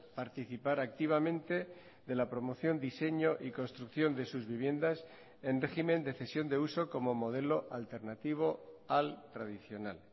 participar activamente de la promoción diseño y construcción de sus viviendas en régimen de cesión de uso como modelo alternativo al tradicional